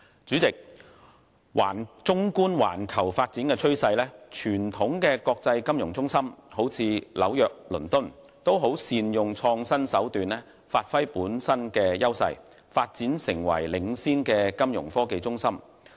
主席，綜觀環球發展趨勢，傳統的國際金融中心如紐約和倫敦均善用創新手段發揮本身優勢，發展成領先的金融科技中心。